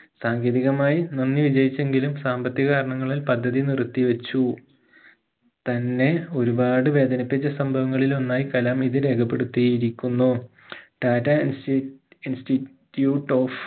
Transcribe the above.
സാങ്കേതികമായി നന്ദി വിജയിച്ചെങ്കിലും സാമ്പത്തിക കാരണങ്ങളാൽ പദ്ധതി നിർത്തി വെച്ചു തന്നെ ഒരുപാട് വേദനിപ്പിച്ച സംഭവങ്ങളിൽ ഒന്നായി കലാം ഇത് രേഖപെടുത്തിയിരിക്കുന്നു tata insti institute of